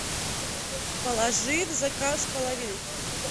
положи в заказ половинку